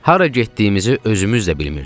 Hara getdiyimizi özümüz də bilmirdik.